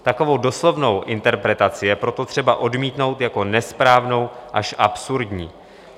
Takovou doslovnou interpretaci je proto třeba odmítnout jako nesprávnou až absurdní.